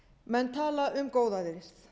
menn tala um góðæri